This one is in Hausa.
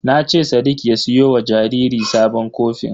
Na ce sadik ya siyo wa jariri sabon kofin.